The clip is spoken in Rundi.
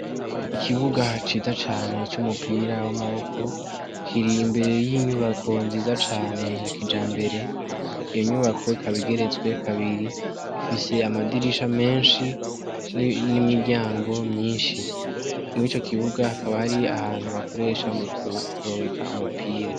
Ikibuga ciza cane cy'umupira w'amaboko, kiri imbere y'inyubako nziza cane ya kijambere, iyo nyubako ikaba igeretswe kabiri, ifise amadirisha menshi n'imiryango myinshi. Muri ico kibuga hakaba hari ahantu bakoresha mu kurungeka umupira.